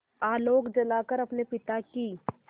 आलोक जलाकर अपने पिता की